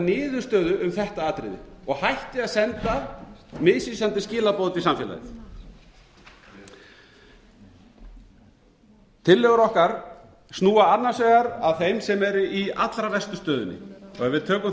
niðurstöðu um þetta atriði og hætti að senda misvísandi skilaboð út í samfélagið tillögur okkar snúa annars vegar að þeim sem eru í allra verstu stöðunni ef við tökum